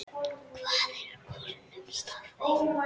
Hvað er kulnun í starfi?